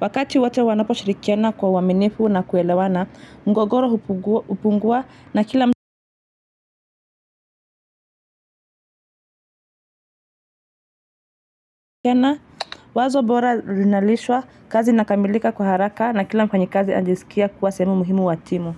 Wakati wote wanapo shirikiana kwa uwaminifu na kuelewana, mgogoro hupungua na kila wazo bora linalishwa kazi inakamilika kwa haraka na kila mfanyikazi ajisikia kuwa sehemu muhimu wa timu.